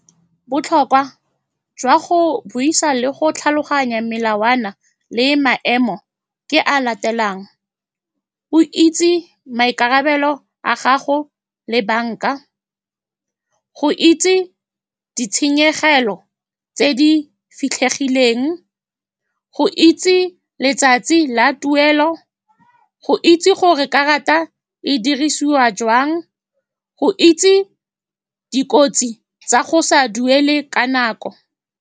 Botlhokwa jwa go buisa le go tlhaloganya melawana le maemo ke a a latelang, go itse maikarabelo a gago le banka, go itse ditshenyegelo tse di fitlhegileng, go itse letsatsi la tuelo, go itse gore karata e dirisiwa jwang, go itse dikotsi tsa go sa duele ka nako.